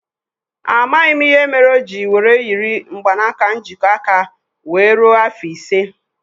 A maghị m ìhè méré oji were yiri mgbanaka njikọ aka wéé rue afọ ise